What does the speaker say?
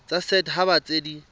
tsa set haba tse di